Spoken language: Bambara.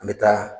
An bɛ taa